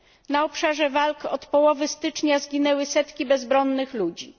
Na obszarze walk od połowy stycznia zginęły setki bezbronnych ludzi.